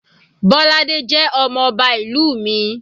Bolade jẹ́ ọmọ ọba ìlú mi.